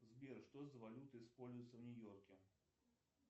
сбер что за валюта используется в нью йорке